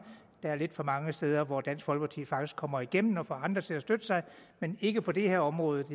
der er lidt for mange steder hvor dansk folkeparti faktisk kommer igennem og får andre til at støtte sig men ikke på det her område